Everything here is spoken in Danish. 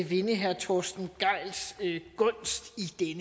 vinde herre torsten gejls gunst i